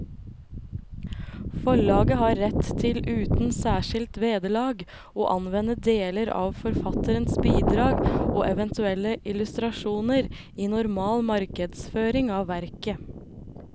Forlaget har rett til uten særskilt vederlag å anvende deler av forfatterens bidrag og eventuelle illustrasjoner i normal markedsføring av verket.